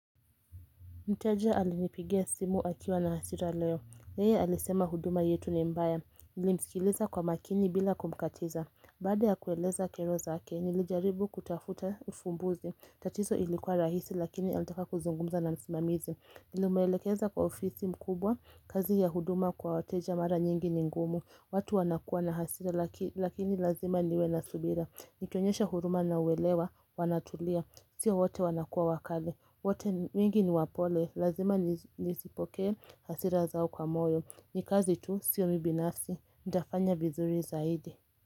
Mteja alinipigia simu akiwa na hasira leo Yeye alisema huduma yetu ni mbaya Nilimsikiliza kwa makini bila kumkatiza Baada ya kueleza kero zake nilijaribu kutafuta ufumbuzi tatizo ilikuwa rahisi lakini alitaka kuzungumza na msimamizi Nimeelekeza kwa ofisi mkubwa kazi ya huduma kwa wateja mara nyingi ningumu watu wanakua na hasira lakini lazima niwe na subira Nikionyesha huruma na uwelewa wanatulia Sio wote wanakua wakale wote mingi ni wapole lazima nisipokee hasira zao kwa moyo Nikazi tu sio mi binasi nitafanya vizuri zaidi.